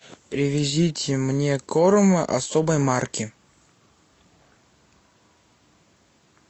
привезите мне корм особой марки